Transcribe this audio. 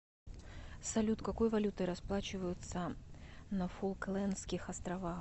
салют какой валютой расплачиваются на фолклендских островах